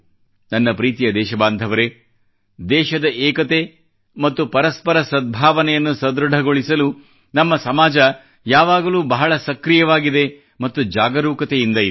ನನ್ನ ಪ್ರೀತಿಯ ದೇಶಬಾಂಧವರೇ ದೇಶದ ಏಕತೆ ಮತ್ತು ಪರಸ್ಪರ ಸದ್ಭಾವನೆಯನ್ನು ಸದೃಢಗೊಳಿಸಲು ನಮ್ಮ ಸಮಾಜ ಯಾವಾಗಲೂ ಬಹಳ ಸಕ್ರಿಯವಾಗಿದೆ ಮತ್ತು ಜಾಗರೂಕತೆಯಿಂದ ಇದೆ